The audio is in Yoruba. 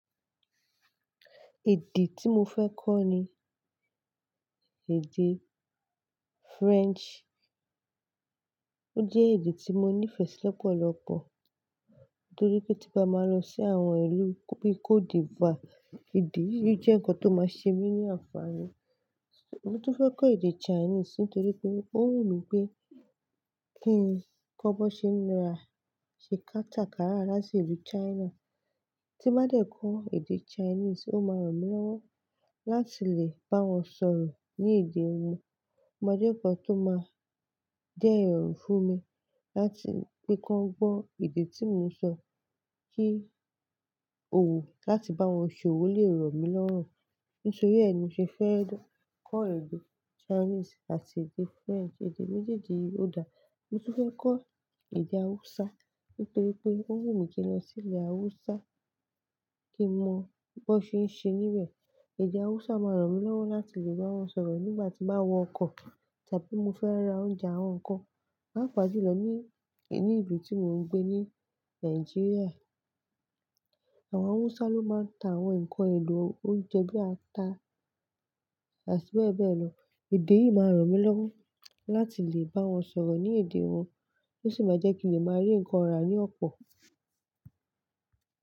Èdè tí mo fẹ́ kọ́ ni èdè French. Ó jẹ́ èdè tí mo nífẹ̀ẹ́ sí lọ́pọ̀lọ́pọ̀ nítorí pé tí nbá máa lọ sí àwọn ìlú bíi Côte d'Ivoire, èdè yìí jẹ́ ǹkan tó máa ṣe mí ní ànfààní. Mo tún fẹ́ kọ́ èdè Chinese nítorí pé ó wù mí pé kí ń kọ́ bó ṣe ń ra ṣe katakara láti ìlú China. Tí n bá dé kọ́ èdè Chinese, ó máa ràn mí lọ́wọ́ láti lè bá wọn sọ̀rọ̀ ní èdè wọn. Ó máa jẹ́ ǹkan tó máa jẹ́ ìrọ̀rùn fún mi láti pe kan gbọ́ èdè tí mò ń sọ kí òwò láti bá wọn ṣòwò lè rọ̀ mí lọ́rùn. Nítorí ẹ ni mo ṣe fẹ́ kọ́ èdè Chinese àti èdè French, èdè méjèèjì yìí ò dáa. Mo tún fẹ́ kọ́ èdè Hausa nítorí pé ó wù mí kí n lọ sí ilẹ̀ Hausa kí n mọ bó ṣe ń ṣe níbẹ̀. Èdè Hausa máa ràn mí lọ́wọ́ láti lè bá wọn sọ̀rọ̀ nígbà tí n bá wọ ọkọ̀ tàbí mo fẹ́ ra oúnjẹ àwọn nǹkan. Pàapa julọ ní, ní ibi tí mò ń gbé ní Nàìjíríà, àwọn Hausa ló máa ń ta àwọn ǹkan ẹlò oúnjẹ bíi ata àti bẹ́ẹ̀ bẹ́ẹ̀ lọ. Èdè yìí máa ràn mí lọ́wọ́ láti lè bá wọn sọ̀rọ̀ ní èdè wọn tí ó sì máa jẹ́ kí lè máa rí ǹkan rà ní ọ̀pọ̀.